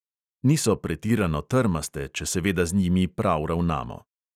Niso pretirano trmaste, če seveda z njimi prav ravnamo.